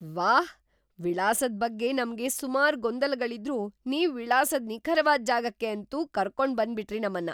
ವಾಹ್! ವಿಳಾಸದ್ ಬಗ್ಗೆ ನಮ್ಗೆ ಸುಮಾರ್ ಗೊಂದಲಗಳಿದ್ರೂ ನೀವು ವಿಳಾಸದ್ ನಿಖರವಾದ್‌ ಜಾಗಕ್ಕೆ ಅಂತೂ ಕರ್ಕೊಂಡ್‌ ಬಂದ್ಬಿಟ್ರಿ ನಮ್ಮನ್ನ.